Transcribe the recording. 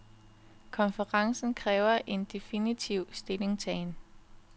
Konferencen kræver en definitiv stillingtagen.